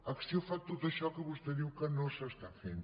acció fa tot això que vostè diu que no s’està fent